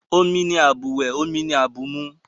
Omi ni àbùwẹ̀, omi ni àbùmu